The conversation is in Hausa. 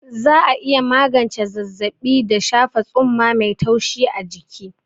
Za'a iya magance zazzaɓi da shafa tsumma mai taushi a jiki.